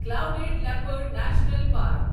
clouded leopard national park